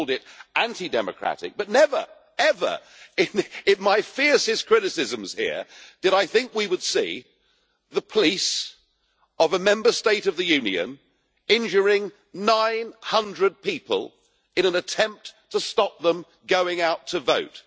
I've called it anti democratic, but never in my fiercest criticisms here did I think that we would see the police of a Member State of the Union injuring 900 people in an attempt to stop them going out to vote.